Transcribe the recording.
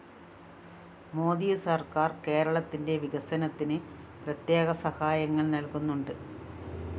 മോദി സര്‍ക്കാര്‍ കേരളത്തിന്റ വികസനത്തിന് പ്രത്യേക സഹായങ്ങള്‍ നല്‍കുന്നുണ്ട്